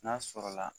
N'a sɔrɔla